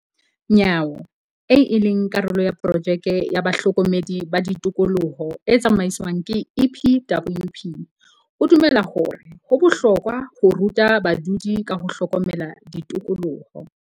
Nyawo, eo e leng karolo ya porojeke ya bahlokomedi ba tikoloho e tsamaiswang ke EPWP, o dumela hore ho bohlokwa ho ruta badudi ka ho hlokomela tikoloho.